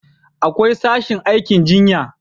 akwai sashin aikin jinya